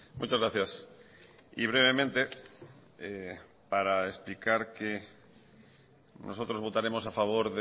muchas gracias y brevemente para explicar que nosotros votaremos a favor